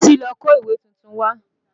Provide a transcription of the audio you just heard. Bísí ló kó ìwé titun wá